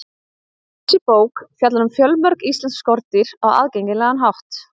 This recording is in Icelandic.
Þessi bók fjallar um fjölmörg íslensk skordýr á aðgengilegan hátt.